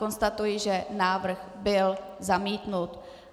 Konstatuji, že návrh byl zamítnut.